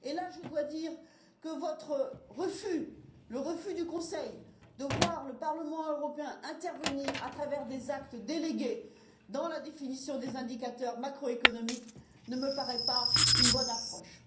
À cet égard, je dois dire que votre refus, le refus du Conseil de voir le Parlement européen intervenir, à travers des actes délégués, dans la définition des indicateurs macroéconomiques, ne me paraît pas une bonne approche.